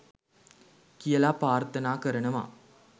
කියලා ප්‍රාර්ථනා කරනවා